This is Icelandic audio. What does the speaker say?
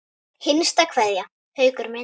HINSTA KVEÐJA Haukur minn.